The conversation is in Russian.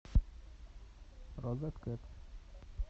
розеткед